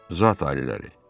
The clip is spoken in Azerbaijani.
Zat aliləri.